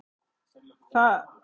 Það kom mér á óvart.